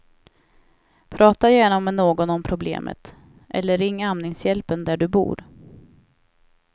Prata gärna med någon om problemet, eller ring amningshjälpen där du bor.